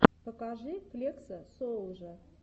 покажи флекса соулжа